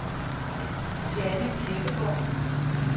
Jeanne Kirkegaard